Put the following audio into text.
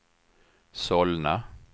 Solna